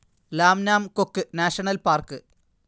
Lam Nam Kok national park